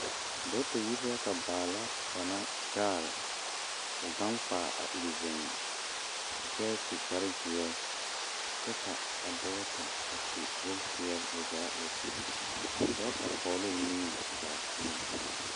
Dɔgeta yiri la ka baala kaŋa gaale k,o gaŋ kpaa a iri zeŋe kyɛ su kparezeɛ kyɛ ka a dɔgeta su bompeɛle o zaa wa sigi a dɔgeta pɔge la o niŋe kpɛlɛŋ.